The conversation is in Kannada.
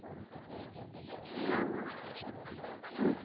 ಹಾ ಅ.